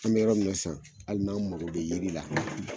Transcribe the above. An mɛ yɔrɔ min na san hali n'an mago bɛ yiri la